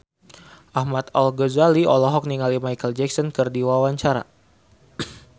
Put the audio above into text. Ahmad Al-Ghazali olohok ningali Micheal Jackson keur diwawancara